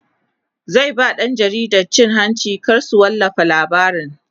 zai ba ɗan jaridan cin hanci kar su wallafa labarin